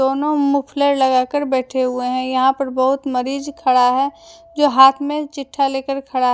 दोनों मोफ़लर लगा के बैठे हुवे है यहां पे बहुत मरीज खड़ा है जो हाथ में चिठ्ठा लेके खड़ा है।